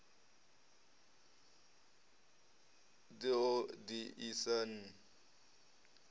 ḓ o ḓ isa n